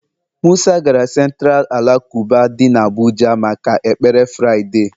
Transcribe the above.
musa gara Centira alakụba dị n'Abuja maka ekpere Fraịde.